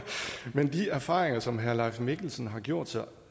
men de erfaringer som herre leif mikkelsen har gjort sig